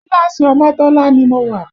Kíláàsì Omotola ni mo wà